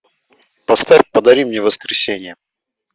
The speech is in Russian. поставь подари мне воскресенье